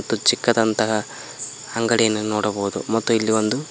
ಮತ್ತು ಚಿಕ್ಕದಂತಹ ಅಂಗಡಿಯನ್ನು ನೋಡಬಹುದು ಮತ್ತು ಇಲ್ಲಿ ಒಂದು --